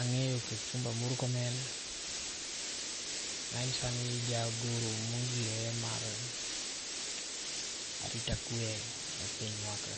Ang'eyo Kipchumba Murkomen, ma en sani jagoro mongirore mar arita kwe e pinywa ka.